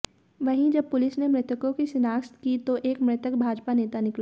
वहीं जब पुलिस ने मृतकों की शिनाख्त की तो एक मृतक भाजपा नेता निकला